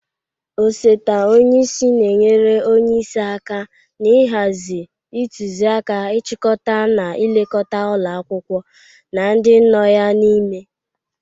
Osote onyeisi na-enyere onyeisi aka na-ịhazị, ịtụzị aka, ịchịkọta na ilekọta ụlọ akwụkwọ na ndị nọ ya n'ime.